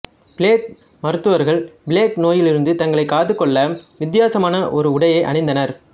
plague மருத்துவர்கள் plague நோயிலிருந்து தங்களைக் காத்துக் கொள்ள வித்தியாசமான ஓர் உடையை அணிந்தனர்